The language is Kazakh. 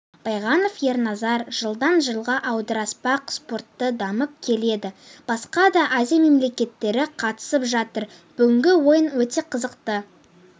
байғонов ерназар жылдан жылға аударыспақ спорты дамып келеді басқа да азия мемлекеттері қатысып жатыр бүгінгі ойын өте қызықты